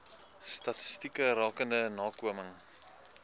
statistieke rakende nakoming